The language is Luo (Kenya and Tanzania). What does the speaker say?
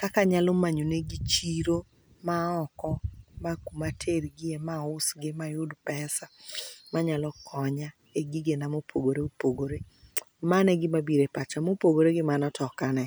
kaka anyalo manyo negi chiro ma oko, ma kuma atergi e ma ausgi mayud pesa manyalo konya e gigena mopogore opogore. Mano e gima biro e pacha. Mopogore gi mano to ok ane.